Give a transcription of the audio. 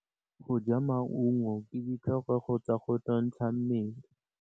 Go ja maungo ke ditlhokegô tsa go nontsha mmele.